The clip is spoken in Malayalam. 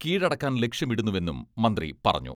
കീഴടക്കാൻ ലക്ഷ്യമിടുന്നുവെന്നും മന്ത്രി പറഞ്ഞു.